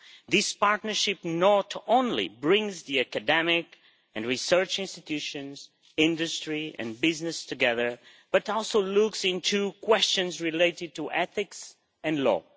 This partnership not only brings the academic and research institutions, industry and business together, but also looks into questions related to ethics and law.